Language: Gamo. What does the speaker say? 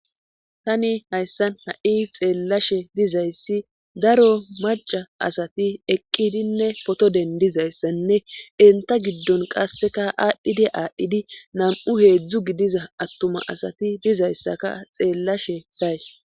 tani hayssan ha7i xeellashe dizayssi daro maca asati eqqidinne potodendizayssanne enta giddon qasseka aadhdhidi aadhdhidi nam7u heedzdzu gidiza attuma asati bizayssaka xeellashe days